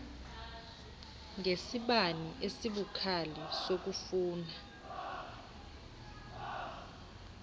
ngesibane esibukhali sokufuna